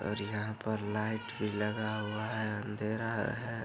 और यहाँ पर लाइट भी लगा हुआ है। अंधेरा ह है।